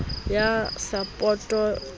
ya sapoto o na le